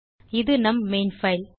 இது நம் main function